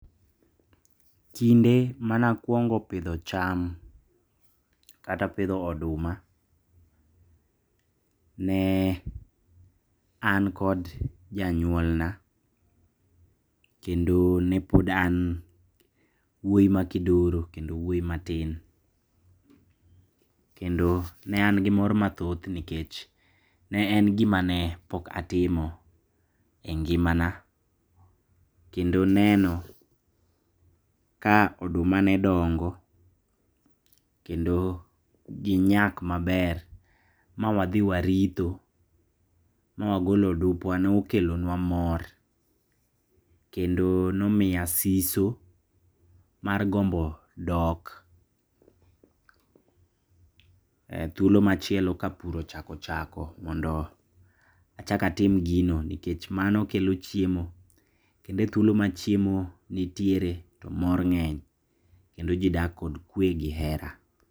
Kinde manakuongo pidho cham, kata pidho oduma, ne an kod janyuolna, kendo nepod an wuoyi makidoro kendo wuoyi matin, kendo nean gi mor mathoth nikech ne en gimane pok atimo e ngimana, kendo neno ka oduma nedongo, kendo ginyak maber mawadhi maritho mwagolo odupwa nokelo nwa mor, kendo nomiya siso mar gombo dok e thuolo machielo ka pur ochak ochako mondo achak atim gino nikech mano kelo chiemo, kendo e thuolo machiemo nitiere mor ng'eny kendo jii dak kod kwe gi hera.